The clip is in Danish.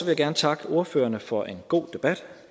jeg gerne takke ordførerne for en god debat